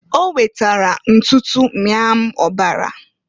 O wetara ntutu mịa m ọbara.